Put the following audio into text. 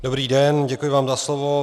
Dobrý den, děkuji vám za slovo.